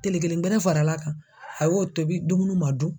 Telen kelen gɛrɛvfaral'a kan a y'o tobi dumunu ma dun.